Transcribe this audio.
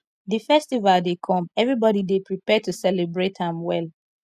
di festival dey come everybody dey prepare to celebrate am well